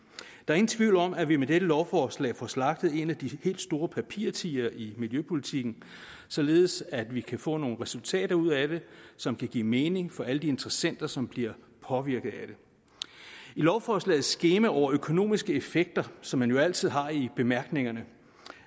der er ingen tvivl om at vi med dette lovforslag får slagtet en af de helt store papirtigre i miljøpolitikken således at vi kan få nogle resultater ud af det som kan give mening for alle de interessenter som bliver påvirket af det i lovforslagets skema over økonomiske effekter som man jo altid har i bemærkningerne